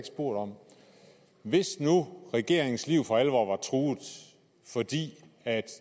spurgt om hvis nu regeringens liv for alvor var truet fordi